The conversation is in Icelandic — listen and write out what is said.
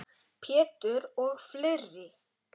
Pétur og fleiri.